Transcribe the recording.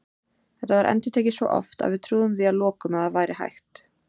Þetta var endurtekið svo oft að við trúðum því að lokum að það væri hægt.